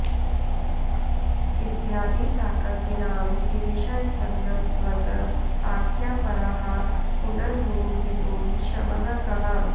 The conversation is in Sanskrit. इत्यादि ताक्कगिरां गिरिशास्पदं त्वत् आख्यापराः पुनरमूनवितुं क्षमः कः